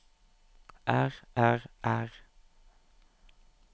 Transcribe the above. er er er